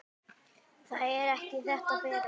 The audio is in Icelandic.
Það er ekki þetta, Bera!